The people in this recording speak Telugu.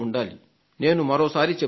నేను మరోసారి చెబుతున్నాను